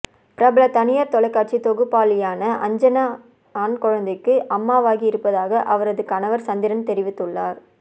பிரபல தனியார் தொலைக்காட்சி தொகுப்பாளினியான அஞ்சனா ஆண் குழந்தைக்கு அம்மாவாகி இருப்பதாக அவரது கணவா் சந்திரன் தெரிவித்துள்ளார்